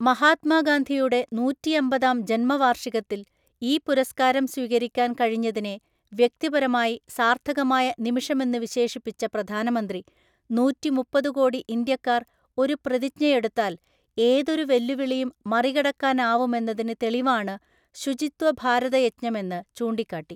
മഹാത്മാഗാന്ധിയുടെ നൂറ്റിഅമ്പതാം ജന്മവാര്ഷികത്തില്‍ ഈ പുരസ്ക്കാരം സ്വീകരിക്കാന്‍ കഴിഞ്ഞതിനെ വ്യക്തിപരമായി സാര്‍ഥകമായ നിമിഷമെന്നുവിശേഷിപ്പിച്ച പ്രധാനമന്ത്രി, നൂറ്റിമുപ്പതുകോടി ഇന്ത്യാക്കാര്‍ ഒരു പ്രതിജ്ഞയെടുത്താല്‍ ഏതൊരു വെല്ലുവിളിയും മറികടക്കാനാവുമെന്നതിന് തെളിവാണ് ശുചിത്വ ഭാരതയജ്ഞമെന്ന് ചൂണ്ടിക്കാട്ടി.